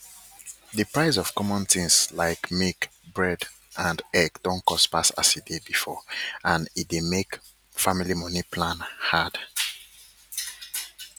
d price of common tins like milk bread and egg don cost pass as e dey before and e dey make family moni plan hard